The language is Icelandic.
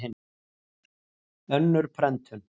Önnur prentun.